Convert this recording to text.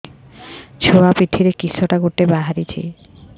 ଛୁଆ ପିଠିରେ କିଶଟା ଗୋଟେ ବାହାରିଛି